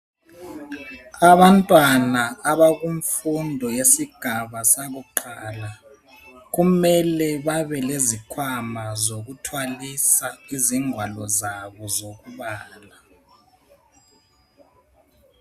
Abantwana abakumfundo yesigaba sakuqala kumele babe lezikhwama sokuthwalisa ingwalo zabo zokubala.